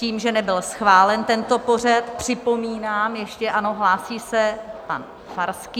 Tím, že nebyl schválen tento pořad, připomínám ještě - ano, hlásí se, pan Farský.